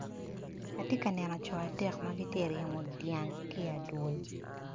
Ati ka neno co adek ma giti ka ryemo dyang ki i adwol.